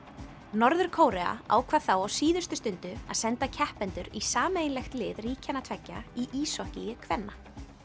norður Kórea ákvað þá á síðustu stundu að senda keppendur í sameiginlegt lið ríkjanna tveggja í íshokkíi kvenna